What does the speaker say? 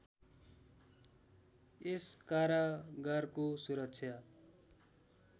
यस कारागारको सुरक्षा